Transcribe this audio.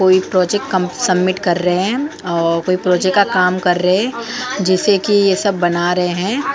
कोई प्रोजेक्ट कम सबमिट कर रहे हैं और कोई प्रोजेक्ट का काम कर रहे हैं जिसे कि ये सब बना रहे हैं।